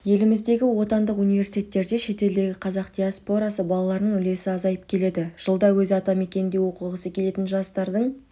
еліміздегі отандық университеттерде шетелдегі қазақ диаспорасы балаларының үлесі азайып келеді жылда өз атамекенінде оқығысы келетін жастардың